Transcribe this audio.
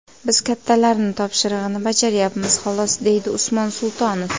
Biz kattalarni topshirig‘ini bajarayapmiz xolos, deydi Usmon Sultonov.